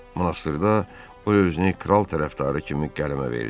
Monastrda o özünü kral tərəfdarı kimi qələmə verdi.